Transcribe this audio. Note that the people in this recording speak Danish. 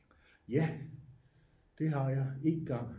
ja det har jeg 1 gang